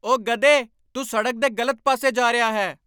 ਓ , ਗਧੇ। ਤੂੰ ਸੜਕ ਦੇ ਗ਼ਲਤ ਪਾਸੇ ਜਾ ਰਿਹਾ ਹੈ।